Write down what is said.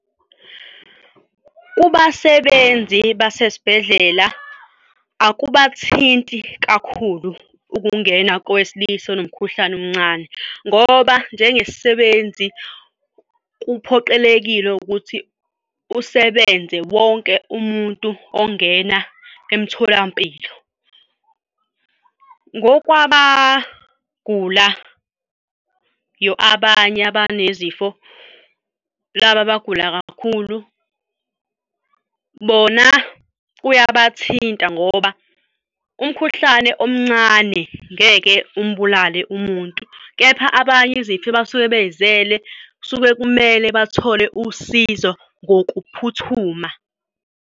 Kubasebenzi basesibhedlela, akubathinti kakhulu ukungena kowesilisa onomkhuhlane omncane ngoba njengesisebenzi kuphoqelekile ukuthi usebenze wonke umuntu ongena emtholampilo. Ngokwabagulayo abanye abanezifo, laba abagula kakhulu bona kuyabathinta ngoba umkhuhlane omncane ngeke umbulale umuntu kepha abanye izifo abasuke bey'zele kusuke kumele bathole usizo ngokuphuthuma.